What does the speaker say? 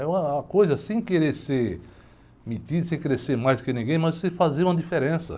É uma coisa, sem querer ser metido, sem querer ser mais do que ninguém, mas sei fazer uma diferença.